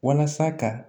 Walasa ka